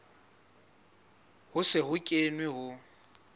ho se ho kenwe ho